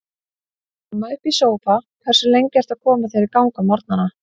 Heima upp í sófa Hversu lengi ertu að koma þér í gang á morgnanna?